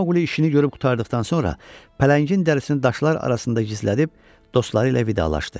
Mauqli işini görüb qurtardıqdan sonra pələngin dərisini daşlar arasında gizlədib dostları ilə vidalaşdı.